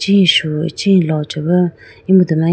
ichi shu ichi lo chibu emudu ma.